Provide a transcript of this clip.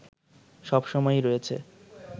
সব সময়ই রয়েছে